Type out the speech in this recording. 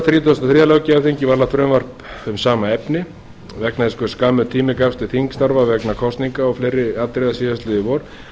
þrítugasta og þriðja löggjafarþingi var lagt fram frumvarp um sama efni vegna þess hve skammur tími gafst til þingstarfa vegna kosninga og fleiri atriða síðastliðið vor